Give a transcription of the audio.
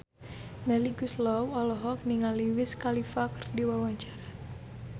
Melly Goeslaw olohok ningali Wiz Khalifa keur diwawancara